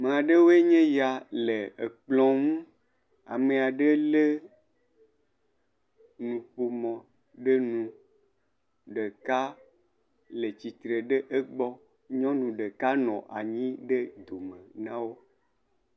Nyɔnu aɖewoe nye ya le ekplɔ ŋu, ame aɖe lé nuƒomɔ ɖe nu ɖeka le tsitre ɖe egbɔ nyɔnu ɖeka nɔ anyi ɖe dome na wo.